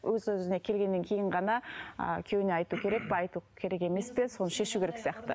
өз өзіне келгеннен кейін ғана ы күйеуіне айту керек пе айту керек емес пе соны шешу керек сияқты